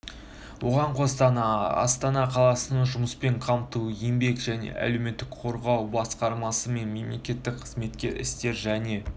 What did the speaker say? оған қоса астана қаласының жұмыспен қамту еңбек және әлеуметтік қорғау басқармасы мен мемлекеттік қызмет істері және